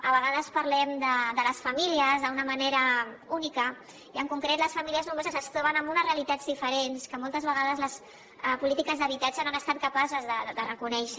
a vegades parlem de les famílies d’una manera única i en concret les famílies nombroses es troben amb unes realitats diferents que moltes vegades les polítiques d’habitatge no han estat capaces de reconèixer